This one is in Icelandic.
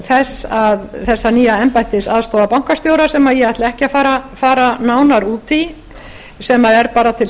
þessa nýja embættis aðstoðarbankastjóra sem ég ætla ekki að fara nánar út í sem er bara til